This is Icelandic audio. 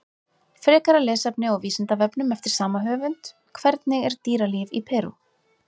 Frekara lesefni á Vísindavefnum eftir sama höfund: Hvernig er dýralíf í Perú?